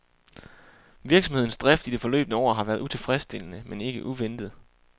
Virksomhedens drift i det forløbne år har været utilfredsstillende, men ikke uventet.